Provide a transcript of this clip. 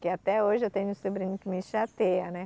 Que até hoje eu tenho um sobrinho que me chateia, né?